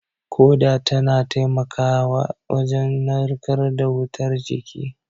Ƙoda tana taimakawa wajen narkar da wutar jiki